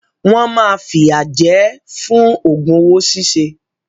Wọ́n máa fìyà jẹ ẹ́ fún òògùn owó ṣíṣe.